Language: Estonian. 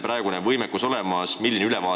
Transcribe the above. Milline see võimekus praegu on?